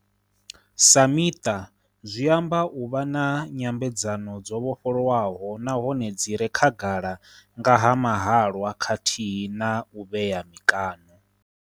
Sa miṱa zwi amba u vha na nyambedzano dzo vhofholowaho nahone dzi re khagala nga ha mahalwa khathihi na u vhea mikaṋo.